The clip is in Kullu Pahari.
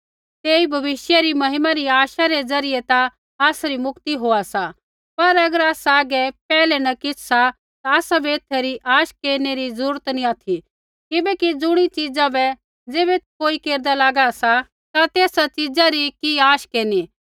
तेई भविष्य री महिमा री आशा रै ज़रियै ता आसरी मुक्ति होआ सा पर अगर आसा हागै पैहलै न किछ़ सा ता आसाबै एथा री आश केरनै री जरूरत नी ऑथि किबैकि ज़ुणी च़ीज़ा बै ज़ैबै कोई हेरदा लागा सा ता तेसा च़ीज़ा री कि आश केरनी